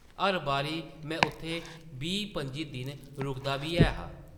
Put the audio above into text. हर बारी में उत्थै बीह्-पंʼजी दिन रुकदा बी ऐ हा ।